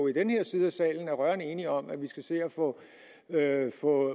i den her side af salen er rørende enige om at vi skal se at få